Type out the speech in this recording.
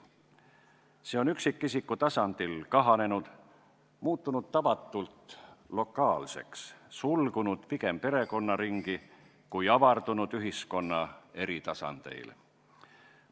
See on üksikisiku tasandil kahanenud, muutunud tavatult lokaalseks, sulgunud pigem perekonnaringi kui avardunud ühiskonna eri tasandeil.